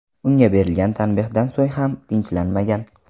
Unga berilgan tanbehdan so‘ng ham tinchlanmagan.